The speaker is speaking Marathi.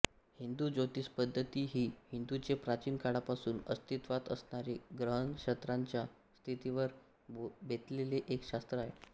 हिंदू ज्योतिष पद्धती ही हिंदूचे प्राचीन काळापासून आस्तित्वात असणारे ग्रहनक्षत्रांच्या स्थितीवर बेतलेले एक शास्त्र आहे